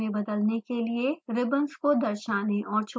ribbons को दर्शाने और छुपाने के लिए